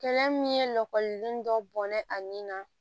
Kɛlɛ min ye lɔgɔliden dɔ bɔnna a nin na